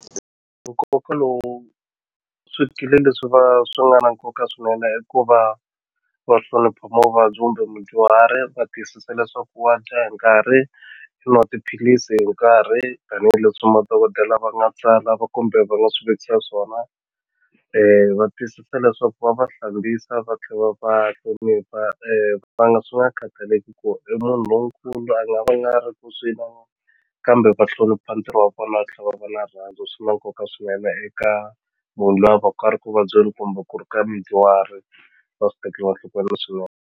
Nkoka lowu swikili leswi va swi nga na nkoka swinene i ku va va hlonipha muvabyi kumbe mudyuhari va tiyisisa leswaku wa dya hi nkarhi xi i nwa tiphilisi hi nkarhi tanihileswi madokodela va nga tsala kumbe va nga swi vekisa swona va tiyisisa leswaku va va hlambisa va tlhe va va hlonipha va nga swi nga khataleki ku i munhu lonkulu a nga va nga ri ku kambe va hlonipha ntirho wa vona va tlhe va va na rirhandzu swi na nkoka swinene eka munhu loyi a va ku a ri ku vabyeni kumbe ku ri ka mudyuhari va swi tekeriwa enhlokweni .